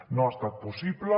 no ha estat possible